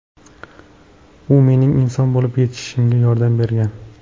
U mening inson bo‘lib yetishishimga yordam bergan.